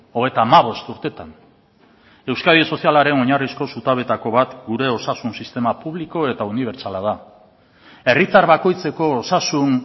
hogeita hamabost urtetan euskadi sozialaren oinarrizko zutabeetako bat gure osasun sistema publiko eta unibertsala da herritar bakoitzeko osasun